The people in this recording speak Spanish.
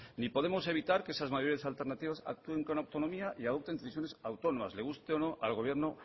ni podemos evitar que esas mayores alternativas actúen con autonomía y adopten decisiones autónomas le guste o no al gobierno